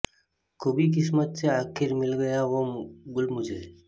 ખૂબી કિસ્મત સે આખીર મિલ ગયા વો ગુલ મુઝે